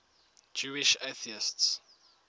jewish atheists